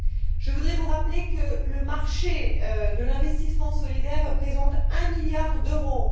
Je voudrais vous rappeler que le marché de l'investissement solidaire représente un milliard d'euros.